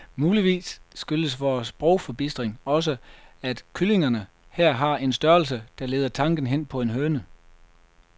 Muligvis skyldes vor sprogforbistring også, at kyllingerne her har en størrelse, der leder tanken hen på en høne.